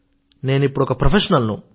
నేను ఇప్పుడు ఒక ప్రొఫెషనల్ ను